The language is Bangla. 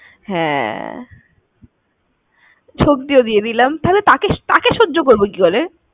হ্যাঁ, শক্তিও দিয়ে দিলাম, তাহলে তাকে সহ্য করবো কি করে?